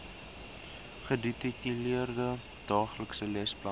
gedetailleerde daaglikse lesplanne